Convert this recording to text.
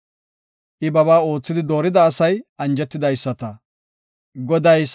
Goday salon uttidi xeellees; asa koche ubbaa be7ees.